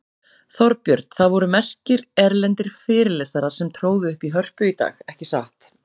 Þorbjörn, það voru merkir erlendir fyrirlesarar sem tróðu upp í Hörpu í dag, ekki satt?